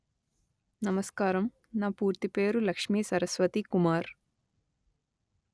నమస్కారం నా పూర్తి పేరు లక్ష్మీ సరస్వతీ కుమార్